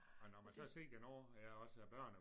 Og når man så har set nu ja også børn og